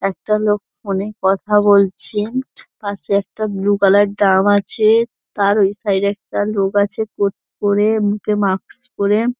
একটা লোক ফোন -এ কথা বলছে পাশে একটা ব্লু কালার ড্রাম আছেএ- তার ওই সাইড -এ একটা লোক আছে কোট পরে মুখে মাক্স পরে।